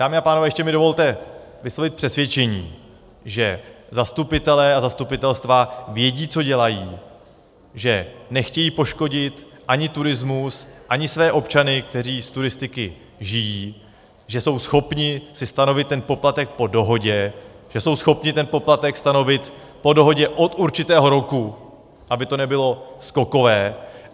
Dámy a pánové, ještě mi dovolte vyslovit přesvědčení, že zastupitelé a zastupitelstva vědí, co dělají, že nechtějí poškodit ani turismus, ani své občany, kteří z turistiky žijí, že jsou schopni si stanovit ten poplatek po dohodě, že jsou schopni ten poplatek stanovit po dohodě od určitého roku, aby to nebylo skokové.